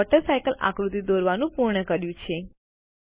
આપણે water cycle આકૃતિ દોરવાનું પૂર્ણ કર્યું છે